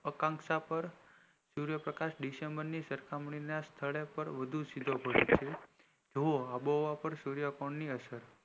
અકાંશા પર સૂર્ય પ્રકાશ ડિસેમ્બર ની સાર્કખામણી એ વધુ સીધો પડે છે આંબો હવા પર સૂર્ય કર્ણ ની અસર